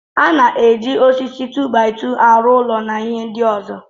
A na-eji osisi 2-by-2 aro ụlọ na ihe ndị ọzọ.